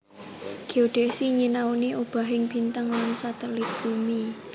Géodesi nyinaoni obahing bintang lan satelit bumi